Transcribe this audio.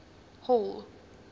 hall